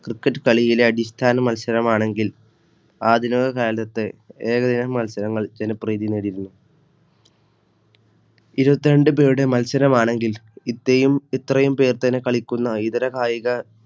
Cricket കളിയിലെഅടിസ്ഥാന മത്സരമാണെങ്കിൽ ആദ്യ ലോക കാലത്ത് ഏകദിന മത്സരങ്ങൾ ജനപ്രീതി നേടിയിരുന്നു. ഇരുപത്തിരണ്ട് പേരുടെ മത്സരമാണെങ്കിൽ ഇത്രയുംപേർ തന്നെ കളിക്കുന്നഇതര കായിക